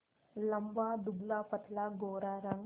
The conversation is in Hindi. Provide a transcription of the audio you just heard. लंबा दुबलापतला गोरा रंग